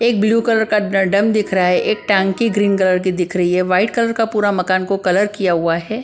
एक blue colour का ड ड्रम दिख रहा है एक टंकी ग्रीन कलर की दिख रही है। वाइट कलर का पूरा मकान को कलर किया हुआ है।